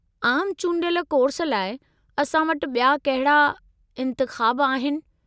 आमु चूंडियल कोर्स लाइ असां वटि बि॒या कहिड़ा इंतिख़ाब आहिनि?